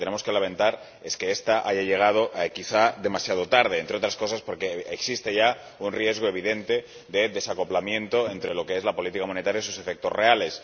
Lo que tenemos que lamentar es que esta haya llegado, quizá, demasiado tarde, entre otras cosas porque existe ya un riesgo evidente de desacoplamiento entre lo que es la política monetaria y sus efectos reales.